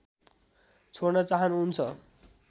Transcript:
छोड्न चाहनु हुन्छ